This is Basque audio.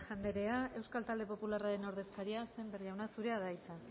anderea euskal talde popularraren ordezkaria sémper jauna zurea da hitza